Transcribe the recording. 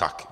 Tak.